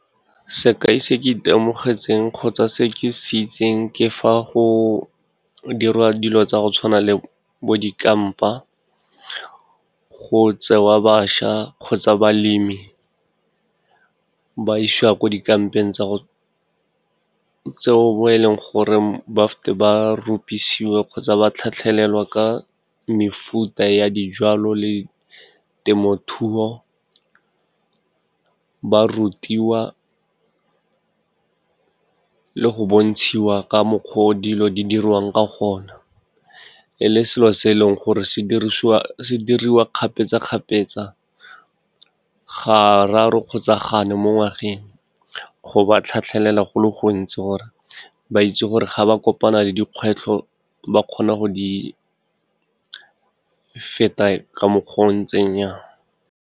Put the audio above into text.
Sekai se ke itemogetseng kgotsa se ke se itseng ke fa go dirwa dilo tsa go tshwana le bo dikampa, go tsewa bašwa kgotsa balemi, ba isiwa ko dikampeng tseo bo e leng gore ba feta ba ropisiwa kgotsa ba tlhatlhelelwa ka mefuta ya dijalo le temothuo, ba rutiwa le go bontshiwa ka mokgwa o dilo di diriwang ka gona, e le selo se e leng gore se diriwa kgapetsa-kgapetsa, ga raro kgotsa ga nne mo ngwageng. Go ba tlhatlhelela go le gontsi, gore ba itse gore ga ba kopana le dikgwetlho ba kgona go di feta, ka mokgwa o ntseng jang.